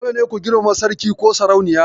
Dole ne ku girmama Sarkin/sarauniyar.